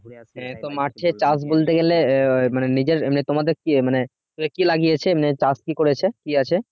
মাঠে কাজ বলতে গেলে মানে নিজের মানে তোমাদের কি মানে কি লাগিয়েছে চাষ কি করেছে কি আছে?